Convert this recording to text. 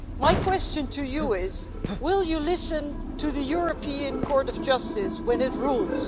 My question to you is will you listen to the European Court of Justice when it rules?